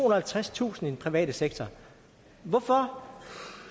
og halvtredstusind i den private sektor hvorfor